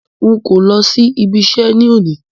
N kò lọ sí ibi iṣẹ́ ni òní